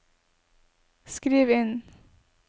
skriv inn